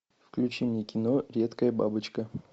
включи мне кино редкая бабочка